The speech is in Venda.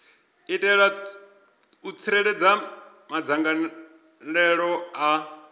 itela u tsireledza madzangalelo a